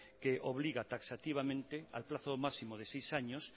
que obliga taxativamente al plazo máximo de seis años